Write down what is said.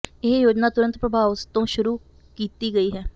ਇਹ ਯੋਜਨਾ ਤੁਰੰਤ ਪ੍ਰਭਾਵ ਤੋਂ ਸ਼ੁਰੂ ਕੀਤੀ ਗਈ ਹੈ